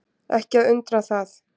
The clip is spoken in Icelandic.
Ekki að undra það.